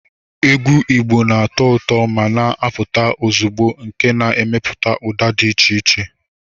Egwu Igbo na-atọ ụtọ ma na-apụta ozugbo nke na-emepụta ụda dị iche iche